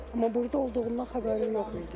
Amma burda olduğundan xəbərim yox idi.